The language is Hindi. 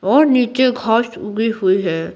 और नीचे घास उगी हुई है।